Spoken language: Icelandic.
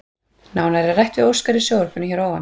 Nánar er rætt við Óskar í sjónvarpinu hér að ofan.